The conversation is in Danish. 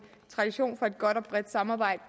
tradition for et godt og bredt samarbejde